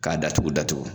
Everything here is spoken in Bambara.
K'a datugu datugu